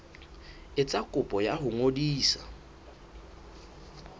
etsa kopo ya ho ngodisa